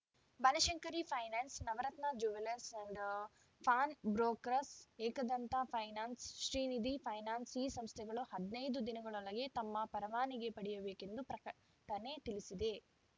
Banashankari finance Navaratna jewellers and pawn brokers Ekadanta finance Srinidhi finance ಈ ಸಂಸ್ಥೆಗಳು ಹದಿನೈದು ದಿನದೊಗಳಗೆ ತಮ್ಮ ಪರವಾನಿಗೆ ಪಡೆಯಬೇಕೆಂದು ಪ್ರಕಟಣೆ ತಿಳಿಸಿದೆ